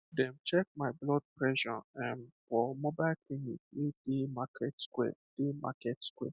dem check my blood pressure erm for mobile clinic wey dey market square dey market square